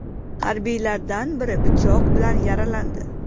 Harbiylardan biri pichoq bilan yaralandi.